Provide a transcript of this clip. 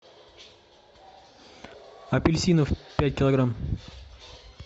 апельсинов пять килограмм